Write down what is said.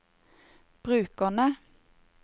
brukerne